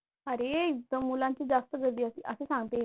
अरे इथे मुलांची जास्त गर्दी असते असे सांगते.